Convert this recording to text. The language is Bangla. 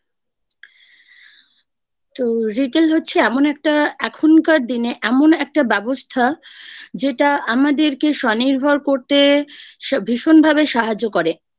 তো Retail হচ্ছে এমন একটা এখনকার দিনে এমন একটা ব্যবস্থা যেটা আমাদেরকে স্বনির্ভর করতে ভীষণভাবে সাহায্য করে